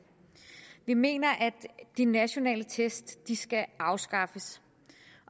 vi mener at de nationale test skal afskaffes